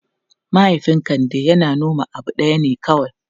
Mahaifin Kande yana noman abu ɗaya ne kawai.